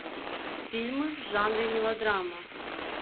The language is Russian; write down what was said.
фильмы в жанре мелодрама